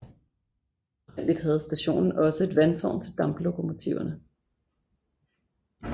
Oprindeligt havde stationen også et vandtårn til damplokomotiverne